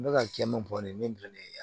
N bɛ ka kɛ min fɔ nin ye min ye